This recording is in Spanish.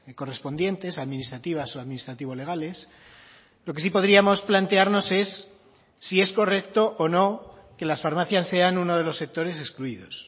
correspondientes administrativas o administrativo legales lo que sí podríamos plantearnos es si es correcto o no que las farmacias sean uno de los sectores excluidos